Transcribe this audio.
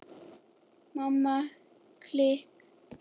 Mamma klikk!